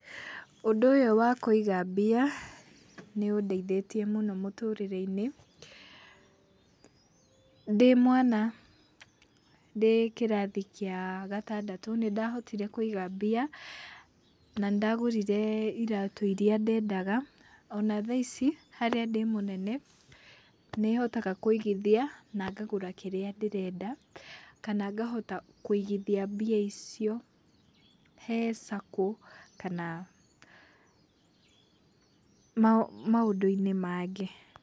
ũndũ ũyũ wakũiga mbia nĩũndeithĩtie mũno mũtũrĩre-inĩ. Ndĩmwana ndĩ kĩrathi gĩa gatandatũ nĩndahotire kũiga mbia, na nĩndagũrire iratũ iria ndendaga. Ona thaa ici harĩa ndĩmũnene, nĩhotaga kũigithia na ngagũra kĩrĩa ndĩrenda kana ngahota kũigithia mbia icio he SACCO kana maũndũ-inĩ mangĩ.